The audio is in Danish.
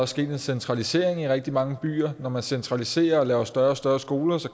sket en centralisering i rigtig mange byer og når man centraliserer og laver større og større skoler